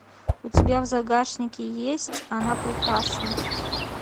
у тебя в загашнике есть она прекрасна